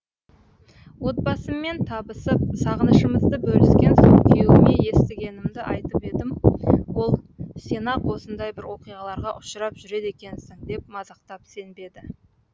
отбасыммен табысып сағынышымызды бөліскен соң күйеуіме естігенімді айтып едім ол сен ақ осындай бір оқиғаларға ұшырап жүреді екенсің деп мазақтап сенбеді